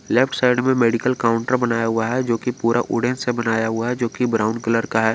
Left side में medical counter बनाया हुआ है जो कि पूरा वुडन से बनाया हुआ है जो कि ब्राउन कलर का है।